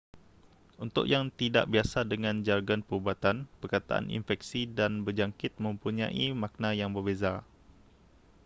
untuk yang tidak biasa dengan jargon perubatan perkataan infeksi dan berjangkit mempunyai makna yang berbeza